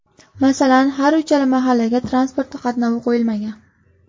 Masalan, har uchala mahallaga transport qatnovi qo‘yilmagan.